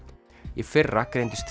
í fyrra greindust